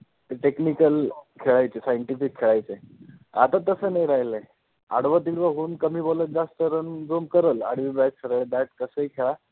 ते technical खेळायचे scientific खेळायचे. आता तसं नाही राहिलय. आडवं-तिडवं होऊन कमी ball त जास्त run जो करल आडवी bat सरळ bat कसं ही खेळा